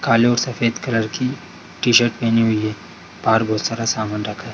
काले और सफेद कलर की टी-शर्ट पेहनी हुई है बाहर बहुत सारा सामान रखा है।